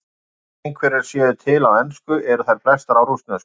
Þó einhverjar séu til á ensku eru þær flestar á rússnesku.